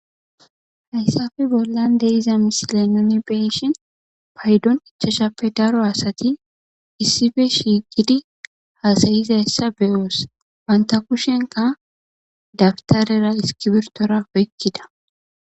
hayssafe bollan de iza misile noni beyishin paydon ichashappe daro asati issife shiiqidi haasayizayssa beyoos wanta kushenka dabtarera iskibirtora wykkida